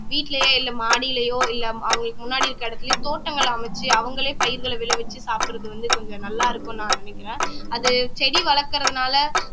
வீட்டிலேயோ இல்ல மாடியிலேயோ இல்ல அவங்களுக்கு முன்னாடி இருக்கிற இடத்திலேயோ தோட்டங்கள் அமைச்சு அவங்களே பயிர்களை விழவச்சு சாப்பிடுறது வந்து கொஞ்சம் நல்லா இருக்கும்னு நான் நினைக்கிறேன் அது செடி வளர்க்கிறதுனால